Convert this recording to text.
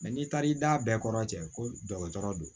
n'i taara i da bɛɛ kɔnɔ cɛ ko dɔgɔtɔrɔ do